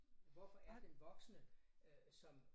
Hvorfor er den voksne øh som